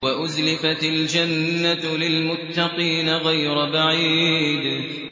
وَأُزْلِفَتِ الْجَنَّةُ لِلْمُتَّقِينَ غَيْرَ بَعِيدٍ